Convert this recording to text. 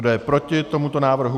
Kdo je proti tomuto návrhu?